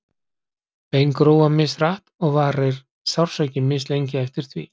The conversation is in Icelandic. Bein gróa mishratt og varir sársauki mislengi eftir því.